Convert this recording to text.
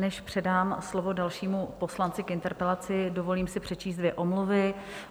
Než předám slovo dalšímu poslanci k interpelaci, dovolím si přečíst dvě omluvy.